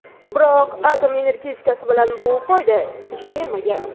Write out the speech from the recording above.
Biroq atom energetikasi bilan bu qoida ish bermagan.